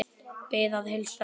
Bið að heilsa pabba.